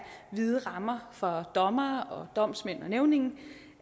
vide rammer for dommere og domsmænd og nævninge